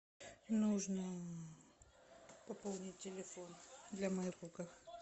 нужно пополнить телефон для моего друга